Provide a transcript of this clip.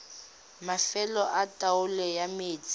mafelo a taolo ya metsi